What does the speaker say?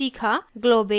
* globbing globbing